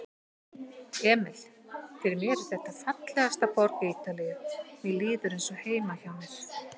Emil: Fyrir mér er þetta fallegasta borg Ítalíu, mér líður eins og heima hjá mér.